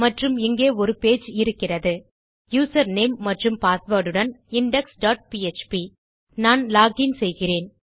மற்றும் இங்கே ஒரு பேஜ் இருக்கிறது யூசர் நேம் மற்றும் பாஸ்வேர்ட் உடன் இண்டெக்ஸ் டாட் பிஎச்பி நான் லாக் இன் செய்கிறேன்